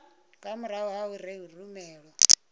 nga murahu ha u rumelwa